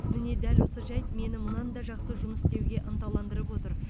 міне дәл осы жайт мені мұнан да жақсы жұмыс істеуге ынталандырып отыр